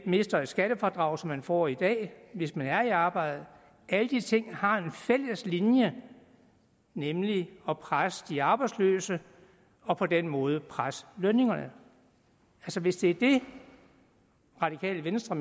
mister et skattefradrag som man får i dag hvis man er i arbejde og alle disse ting har en fælles linje nemlig at presse de arbejdsløse og på den måde presse lønningerne hvis det er det radikale venstre